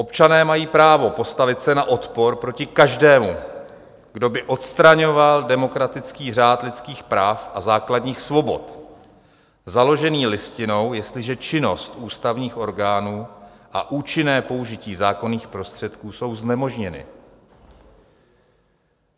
Občané mají právo postavit se na odpor proti každému, kdo by odstraňoval demokratický řád lidských práv a základních svobod založený Listinou, jestliže činnost ústavních orgánů a účinné použití zákonných prostředků jsou znemožněny.